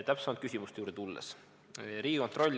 Täpsemalt küsimuste juurde.